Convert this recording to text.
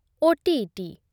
OTET